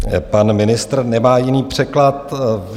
Pan ministr nemá jiný překlad.